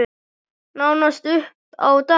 Nánast upp á dag.